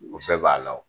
O bɛɛ b'a la wo